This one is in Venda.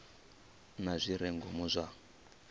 na zwi re ngomu zwa